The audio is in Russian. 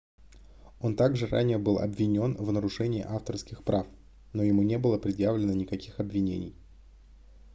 он также ранее был обвинён в нарушении авторских прав но ему не было предъявлено никаких обвинений